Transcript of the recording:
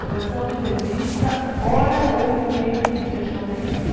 Redação de revista, hora ou momento de fechamento.